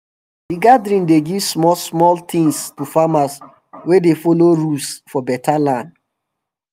the gathering dey give small small things to farmer wey dey follow rules for beta land